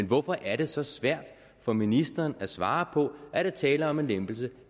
hvorfor er det så svært for ministeren at svare på om er tale om en lempelse